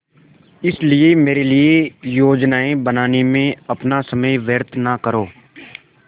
इसलिए मेरे लिए योजनाएँ बनाने में अपना समय व्यर्थ न करो